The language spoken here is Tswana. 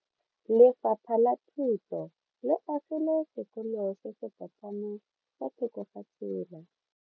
Lefapha la Thuto le agile sekolo se se potlana fa thoko ga tsela.